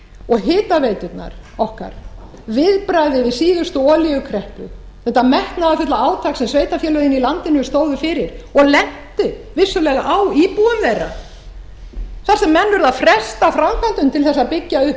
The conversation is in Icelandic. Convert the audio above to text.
og hitaveiturnar okkar viðbragðið við síðustu olíukreppu þetta metnaðarfulla átak sem sveitarfélögin í landinu stóðu fyrir og lentu vissulega á búa þeirra þar sem menn urðu að fresta framkvæmdum til að byggja upp